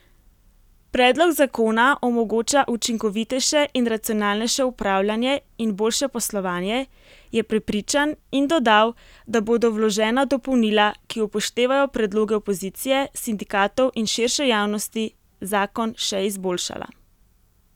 Predlog zakona omogoča učinkovitejše in racionalnejše upravljanje in boljše poslovanje, je prepričan in dodal, da bodo vložena dopolnila, ki upoštevajo predloge opozicije, sindikatov in širše javnosti, zakon še izboljšala.